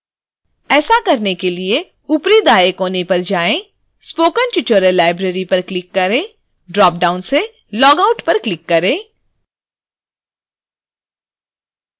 ऐसा करने के लिए ऊपरी दाएँ कोने पर जाएँ spoken tutorial library पर क्लिक करें ड्रॉपडाउन से logout पर क्लिक करें